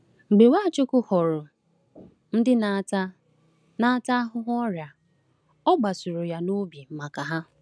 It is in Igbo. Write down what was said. Mgbe Nwachukwu hụrụ ndị na-ata na-ata ahụhụ ọrịa, ọ kpasuru ya n’obi maka ha.